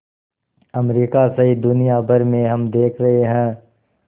America सहित दुनिया भर में हम देख रहे हैं